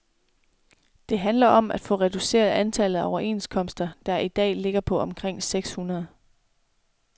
Det handler om at få reduceret antallet af overenskomster, der i dag ligger på omkring seks hundrede.